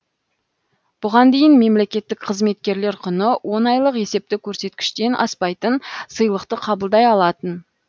бұған дейін мемлекеттік қызметкерлер құны он айлық есепті көрсеткіштен аспайтын сыйлықты қабылдай алатын